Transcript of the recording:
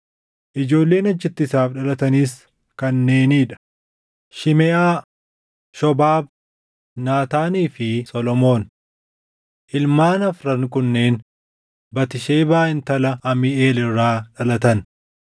ijoolleen achitti isaaf dhalatanis kanneenii dha: Shimeʼaa, Shobaab, Naataanii fi Solomoon. Ilmaan afran kunneen Batisheebaa intala Amiiʼeel irraa dhalatan.